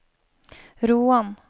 Roan